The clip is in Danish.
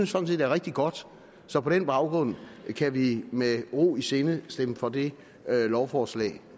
sådan set er rigtig godt så på den baggrund kan vi med ro i sindet stemme for det lovforslag